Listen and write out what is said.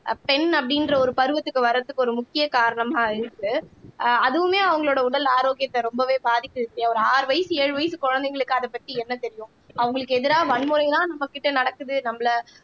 பெண் அப்படின்ற ஒரு பருவத்துக்கு வர்றதுக்கு ஒரு முக்கிய காரணமா இருக்கு ஆஹ் அதுவுமே அவங்களோட உடல் ஆரோக்கியத்தை ரொம்பவே பாதிக்குது ஒரு ஆறு வயசு ஏழு வயசு குழந்தைங்களுக்கு அதை பத்தி என்ன தெரியும் அவங்களுக்கு எதிரா வன்முறைதான் நம்மகிட்ட நடக்குது நம்மள